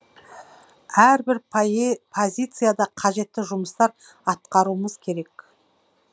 әрбір позицияда қажетті жұмыстар атқаруымыз керек